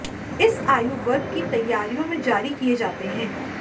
इस आयु वर्ग की तैयारियों में जारी किए जाते हैं